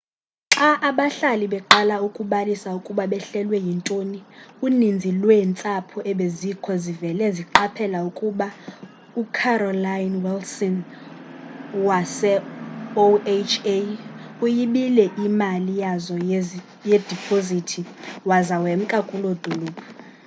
xa abahlali beqala ukubalisa ukuba behlelwe yintoni uninzi lweentsapho ebezikho zivele zqaphela ukuba ucarolyn wilson wase-oha uyibile iimali yazo yedipozithi waza wemka kuloo dolophu